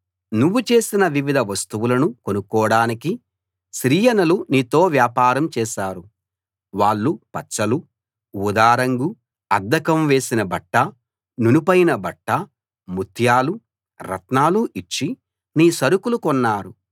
నువ్వు చేసిన వివిధ వస్తువులను కొనుక్కోడానికి సిరియనులు నీతో వ్యాపారం చేశారు వాళ్ళు పచ్చలు ఊదా రంగు అద్దకం వేసిన బట్ట నునుపైన బట్ట ముత్యాలు రత్నాలు ఇచ్చి నీ సరుకులు కొన్నారు